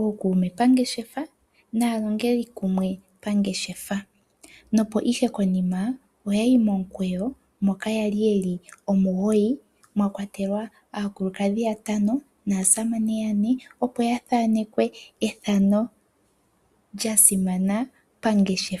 ookuume pangeshefa naalongeli kumwe pangeshefa. Nokonima oya yi momukweyo moka ya li ye li omugoyi mwa kwatelwa aakulukadhi yatano naasamane yane, opo ya thanekwe ethano lya simana pangeshefa.